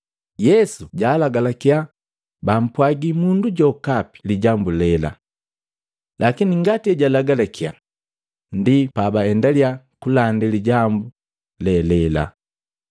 Yesu jaalagalakya bampwagi mundu jokapi lijambu lela. Lakini ngati ejalagalakya, ndi pabaendalya kulandi lijambu lelela.